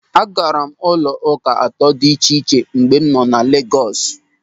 Agara m ụlọ ụka atọ dị iche iche mgbe nọ na Legos.